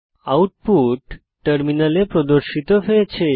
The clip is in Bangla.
আউটপুট টার্মিনালে প্রদর্শিত হয়েছে